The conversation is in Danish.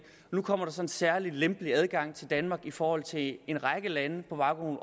nu kommer der så en særlig lempelig adgang til danmark i forhold til en række lande på baggrund